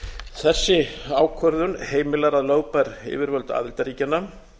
þessi ákvörðun heimilar að lögbær yfirvöld aðildarríkjanna